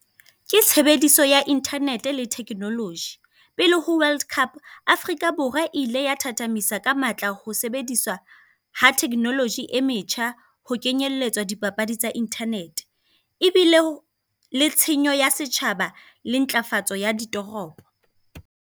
Ke tshebediso ya internet-e le thekenoloji. Pele ho world cup, Afrika Borwa ile ya thathamisa ka matla ho sebedisa ha thekenoloji e metjha, ho kenyelletswa dipapadi tsa internet-e. Ebile le tshenyo ya setjhaba le ntlafatso ya ditoropo.